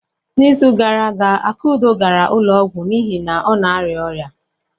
N'izu gara aga, Akudo gara ụlọ ọgwụ n'ihi na ọ na-arịa ọrịa.